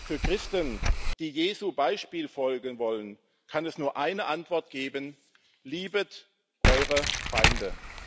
Für Christen, die Jesu Beispiel folgen wollen, kann es nur eine Antwort geben Liebet eure Feinde.